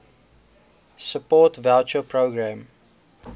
support voucher programme